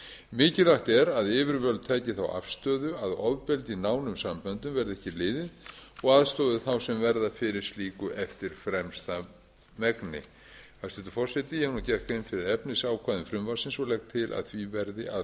mikilvægt er að yfirvöld taki þá afstöðu að ofbeldi í nánum samböndum verði ekki liðið og aðstoði þá sem verða fyrir slíku eftir fremsta megni hæstvirtur forseti ég hef nú gert grein fyrir efnisákvæðum frumvarpsins og legg til að því verði að